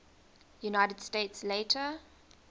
united states later